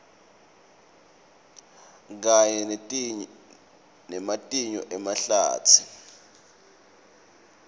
kanye nematinyo emahlatsi